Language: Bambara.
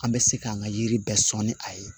An bɛ se k'an ka yiri bɛɛ sɔn ni a ye